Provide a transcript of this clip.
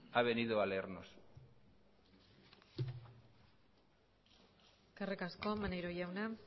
ha venido a leernos eskerrik asko maneiro jauna